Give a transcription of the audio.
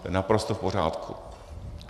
To je naprosto v pořádku.